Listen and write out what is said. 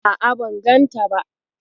A'a, ban ganta ba.